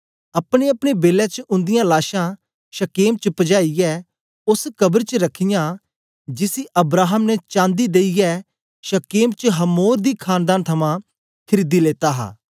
अपनेअपने बेलै च उंदीयां लाशां शकेम च पजाईयै ओस कब्र च रखियां जिसी अब्राहम ने चांदी देईयै शकेम च हमोर दी खानदान थमां खरीदी लेता हा